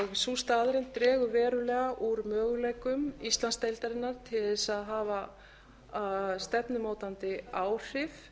sú staðreynd dregur verulega úr möguleikum íslandsdeildarinnar til þess að hafa stefnumótandi áhrif